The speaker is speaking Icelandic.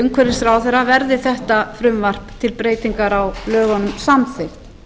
umhverfisráðherra verði þetta frumvarp til breytinga á lögunum samþykkt